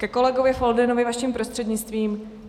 Ke kolegovi Foldynovi vaším prostřednictvím.